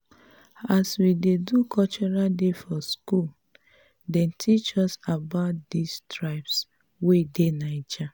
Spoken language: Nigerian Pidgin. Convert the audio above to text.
as we do cultural day for skool dem teach us about di tribes wey dey naija.